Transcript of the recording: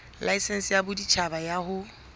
laesense ya boditjhaba ya ho